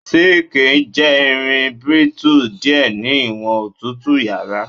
Zinc jẹ irin brittle diẹ ni iwọn otutu yara